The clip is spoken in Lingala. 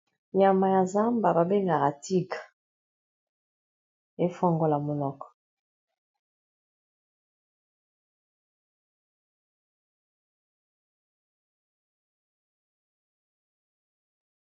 Nyama ya zamba babengaka Tigre efongola monoko.